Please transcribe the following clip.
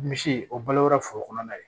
Misi o balora foro kɔnɔna ye